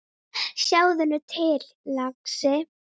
Sjáðu nú til, lagsi.